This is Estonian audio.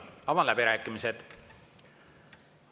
Avan läbirääkimised.